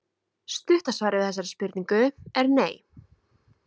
Stutta svarið við þessari spurningu er nei.